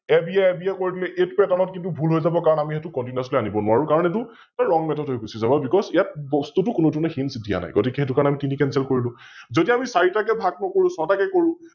ABAB য়ে কৰি দিলো এইতো এটাৰ লগত ভুল হৈ যাৱ কাৰণ আমি সৈতো Continously আনিব নোৱাৰো কাৰণ এইতো WrongMethod হৈ গুছি যাব Because ইয়াত বস্তুটো কোনোধৰণে Hints দিয়া নাই, গতিকে সৈতো কাৰণে আমি তিনি Cenceled কৰিলো । যদি আমি চাৰিটাকৈ ভাগ নকৰো ছয় টাকৈ কৰো